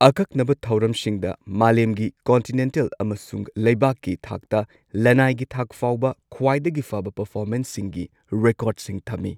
ꯑꯀꯛꯅꯕ ꯊꯧꯔꯝꯁꯤꯡꯗ, ꯃꯥꯂꯦꯝꯒꯤ, ꯀꯟꯇꯤꯅꯦꯟꯇꯜ, ꯑꯃꯁꯨꯡ ꯂꯩꯕꯥꯛꯀꯤ ꯊꯥꯛꯇ, ꯂꯅꯥꯏꯒꯤ ꯊꯥꯛ ꯐꯥꯎꯕ ꯈ꯭ꯋꯥꯏꯗꯒꯤ ꯐꯕ ꯄꯔꯐꯣꯃꯦꯟꯁꯁꯤꯡꯒꯤ ꯔꯦꯀꯣꯔꯗꯁꯤꯡ ꯊꯝꯃꯤ꯫